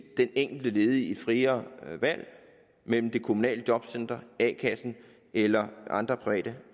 den enkelte ledige et friere valg mellem det kommunale jobcenter a kassen eller andre private